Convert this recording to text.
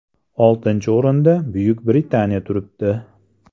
Oltinchi o‘rinda Buyuk Britaniya turibdi.